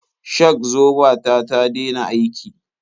Shak-zoba ta ta dena aiki.